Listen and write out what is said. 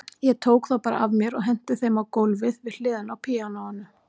Ég tók þá bara af mér og henti þeim á gólfið við hliðina á píanóinu.